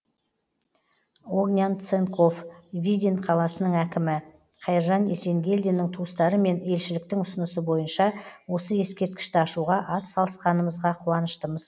огнян ценков видин қаласының әкімі қайыржан есенгелдиннің туыстары мен елшіліктің ұсынысы бойынша осы ескерткішті ашуға ат салысқанымызға қуаныштымыз